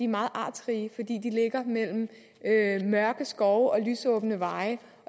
meget artsrige fordi de ligger mellem mørke skove og lysåbne veje